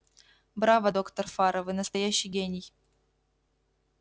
браво доктор фара вы настоящий гений